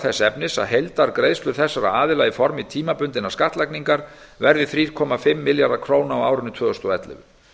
þess efnis að heildargreiðslur þessara aðila í formi tímabundinnar skattlagningar verði þrjú komma fimm milljarðar króna á árinu tvö þúsund og ellefu